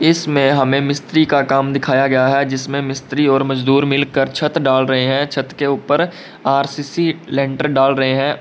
इसमें हमें मिस्त्री का काम दिखाया गया है जिसमें मिस्त्री और मजदूर मिलकर छत ढाल रहे हैं छत के ऊपर आर_सी_सी लेंटर डाल रहे हैं।